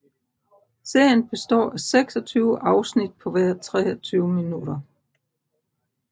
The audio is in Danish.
Serien består af 26 afsnit på hver 23 minutter